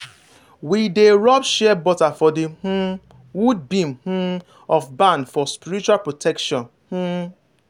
we dey rub shea butter for the um wood beam um of barn for spiritual protection. um